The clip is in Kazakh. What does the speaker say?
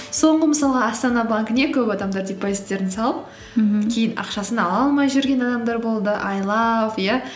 соңғы мысалға астана банкіне көп адамдар депозиттерін салып мхм кейін ақшасын ала алмай жүрген адамдар болды айлап иә